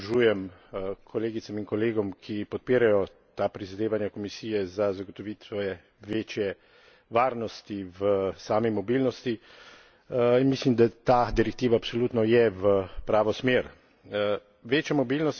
Tudi sam seveda se pridružujem kolegicam in kolegom, ki podpirajo ta prizadevanja Komisije za zagotovitev večje varnosti v sami mobilnosti, in mislim, da ta direktiva absolutno je v pravo smer.